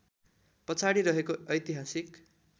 पछाडि रहेको ऐतिहासिक